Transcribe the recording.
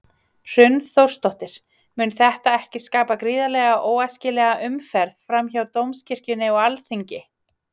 Hrund Þórsdóttir: Mun þetta ekki skapa gríðarlega óæskilega umferð fram hjá Dómkirkjunni og Alþingi?